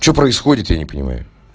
что происходит я не понимаю